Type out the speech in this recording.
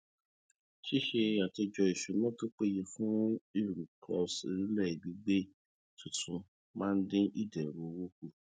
ṣíṣe àtòjọ ìsúná tó péye fún ìrúkọsílẹìbìgbé tuntun máa ń dín ìdẹrù owó kù